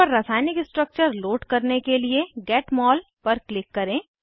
panel पर रासायनिक structure load करने के लिए गेट मोल पर क्लिक करें